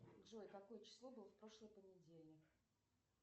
джой какое число было в прошлый понедельник